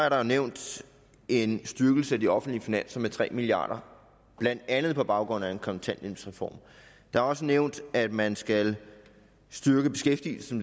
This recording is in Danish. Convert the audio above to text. at der er nævnt en styrkelse af de offentlige finanser med tre milliard kr blandt andet på baggrund af en kontanthjælpsreform der er også nævnt at man skal styrke beskæftigelsen